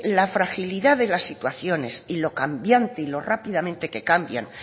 la fragilidad de la situaciones y lo cambiante y lo rápidamente que cambian